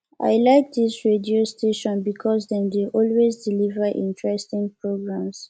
i like dis radio station because dem dey always deliver interesting programs